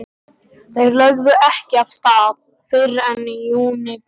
Þeir lögðu ekki af stað fyrr en í júníbyrjun.